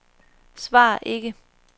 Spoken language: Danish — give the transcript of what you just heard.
svar ikke